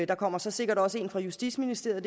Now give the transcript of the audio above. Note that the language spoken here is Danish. der kommer så sikkert også en fra justitsministeriet